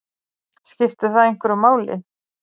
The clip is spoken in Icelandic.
Skipti það einhverju máli?